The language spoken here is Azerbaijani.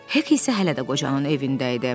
Hek isə hələ də qocanın evində idi.